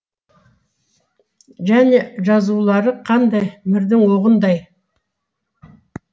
және жазулары қандай мірдің оғындай